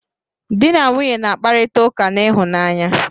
Dị na nwunye na-akparita ụka n'ịhụnanya.